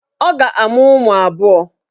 Ọ ga-amụ ụmụ abụọ.